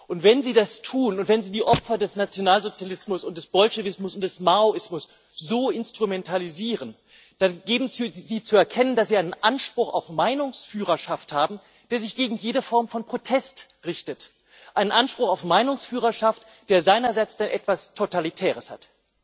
Und wenn Sie das tun und wenn Sie die Opfer des Nationalsozialismus und des Bolschewismus und des Maoismus so instrumentalisieren, dann geben Sie zu erkennen, dass Sie einen Anspruch auf Meinungsführerschaft haben, der sich gegen jede Form von Protest richtet einen Anspruch auf Meinungsführerschaft, der seinerseits dann etwas Totalitäres hat.